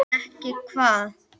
En ekki hvað?